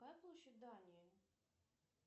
какая площадь дании